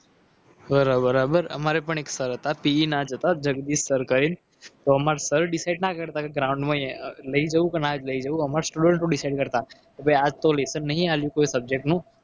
બરોબર બરોબર અમારે પણ એક sir પીઈ ના હતા. એ જગદીશ sir કરીને તો અમારા sir decide ના કરતા ground માં લઈ જવું કે ના લઈ જવું અમારે student ઓ decide કરતા કે ભાઈ આજ તો lesson નહીં આપ્યું કોઈ subject નું